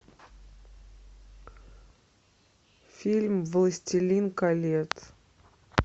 фильм властелин колец